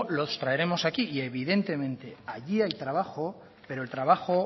los traeremos aquí y evidentemente allí hay trabajo pero el trabajo